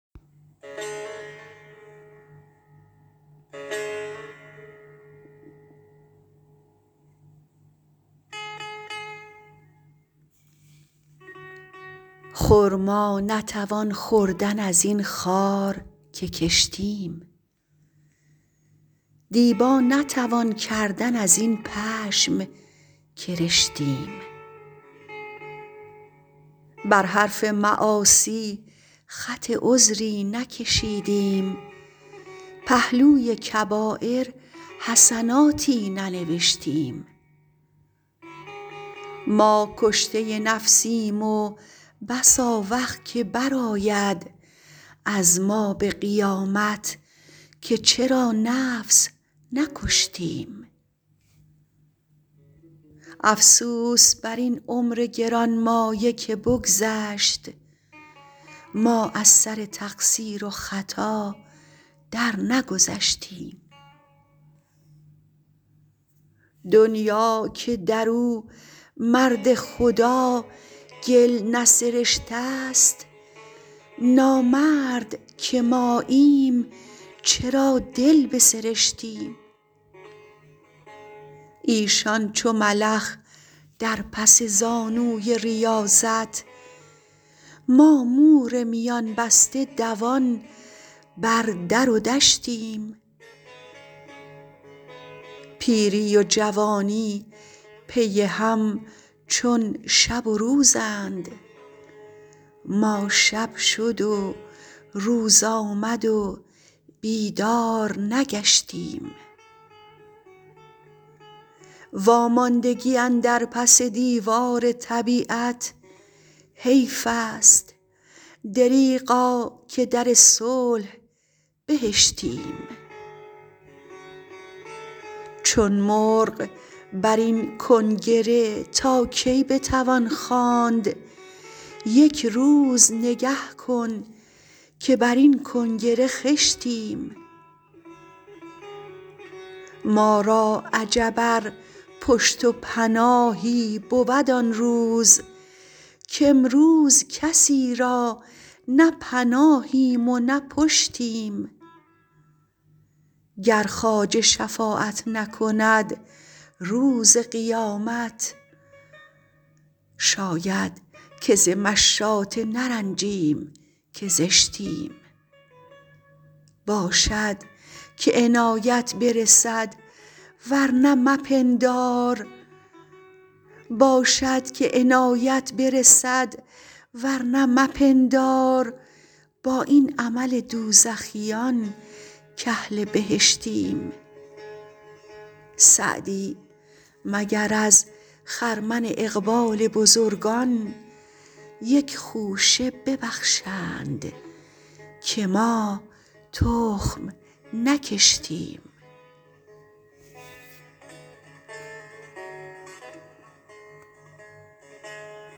خرما نتوان خوردن از این خار که کشتیم دیبا نتوان کردن از این پشم که رشتیم بر حرف معاصی خط عذری نکشیدیم پهلوی کبایر حسناتی ننوشتیم ما کشته نفسیم و بس آوخ که برآید از ما به قیامت که چرا نفس نکشتیم افسوس بر این عمر گرانمایه که بگذشت ما از سر تقصیر و خطا درنگذشتیم دنیا که در او مرد خدا گل نسرشته ست نامرد که ماییم چرا دل بسرشتیم ایشان چو ملخ در پس زانوی ریاضت ما مور میان بسته دوان بر در و دشتیم پیری و جوانی پی هم چون شب و روزند ما شب شد و روز آمد و بیدار نگشتیم واماندگی اندر پس دیوار طبیعت حیف است دریغا که در صلح بهشتیم چون مرغ بر این کنگره تا کی بتوان خواند یک روز نگه کن که بر این کنگره خشتیم ما را عجب ار پشت و پناهی بود آن روز کامروز کسی را نه پناهیم و نه پشتیم گر خواجه شفاعت نکند روز قیامت شاید که ز مشاطه نرنجیم که زشتیم باشد که عنایت برسد ورنه مپندار با این عمل دوزخیان کاهل بهشتیم سعدی مگر از خرمن اقبال بزرگان یک خوشه ببخشند که ما تخم نکشتیم